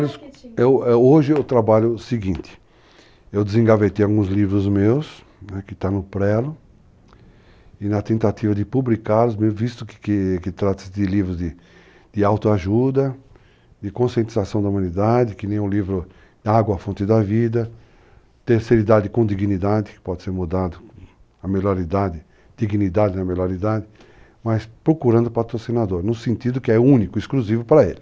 Hoje eu trabalho o seguinte, eu desengavetei alguns livros meus, né, que estão no prelo, e na tentativa de publicá-los, visto que trata-se de livros de autoajuda, de conscientização da humanidade, que nem o livro Água, a fonte da vida, terceira idade com dignidade, que pode ser mudado, a melhor idade, dignidade na melhor idade, mas procurando patrocinador, no sentido que é único, exclusivo para ele.